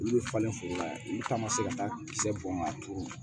Olu bɛ falen foro la olu taama se ka taa kisɛ bɔ ka turu